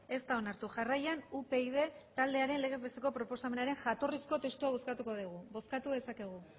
ez da onartu jarraian upyd taldearen legez besteko proposamenaren jatorrizko testua bozkatuko dugu bozkatu dezakegu